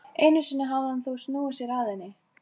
Einu sinni hafði hann þó snúið sér að henni.